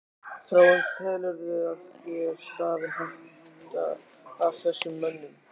Þráinn: Telurðu að þér stafi hætta af þessum mönnum?